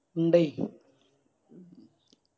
ഇണ്ടെയ്